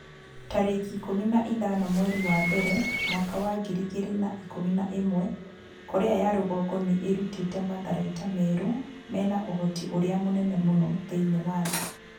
tarĩki ikũmi na ithano mweri wa mbere mwaka wa ngiri igĩrĩ na ikũmi na ĩmwe Korea ya rũgongo nĩ ĩrutĩte matharaita merũ mena ũhoti ũrĩa mũnene mũno thĩinĩ wa thĩ.'